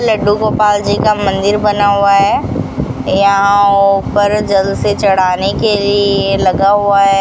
लड्डू गोपाल जी का मंदिर बना हुआ है यहां ऊपर जल से चढ़ाने के लिए लगा हुआ है।